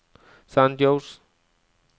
San José